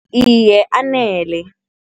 Iye, anele.